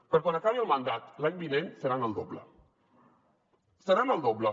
per quan acabi el mandat l’any vinent seran el doble seran el doble